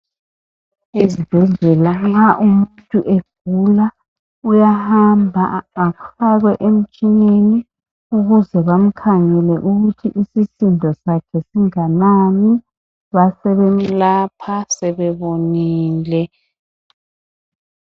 Ezibhedlela nxa umuntu egula uyahamba afakwe emtshineni ukuze bamkhangele ukuthi isisindo sakhe singanani besebemlapha sebebonile.